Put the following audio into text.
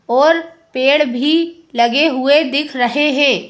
और पेड़ भी लगे हुए दिख रहे है।